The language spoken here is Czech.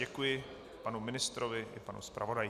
Děkuji panu ministrovi i panu zpravodaji.